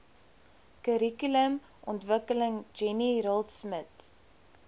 kurrikulumontwikkeling jenny raultsmith